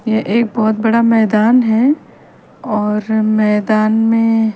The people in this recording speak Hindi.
ये एक बहोत बड़ा मैदान है और मैदान में --